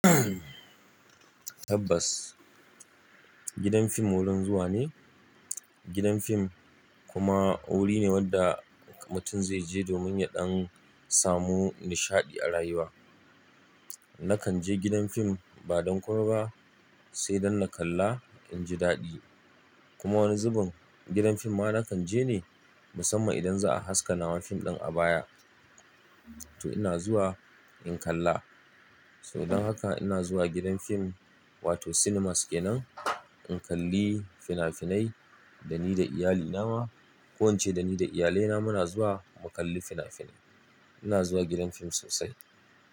Tabbas, gidan fim wurin zuwa ne. Gidan fim kuma wuri ne wanda mutum zai je domin ya ɗan samu nishaɗi a rayuwa. Nakan je gidan fim ba don komai ba, sai dan na kalla inji daɗi. Kuma wani zubin gidan fim ma nakan je ne musamman idan za a haska naman fim ɗin a baya. To ina zuwa in kalla. Saboda haka ina zuwa gidan fim wato cinemas kenan in kalli fina-finai da ni da iyalina ma. Ko ince da ni da iyalai na muna zuwa mu kalli fina-finai. Ina zuwa gidan fim sosai.